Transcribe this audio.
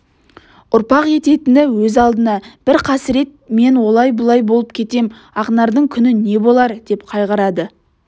ұрпақ ететіні өз алдына бір қасірет мен олай-бұлай болып кетем ақнардың күні не болар деп қайғырады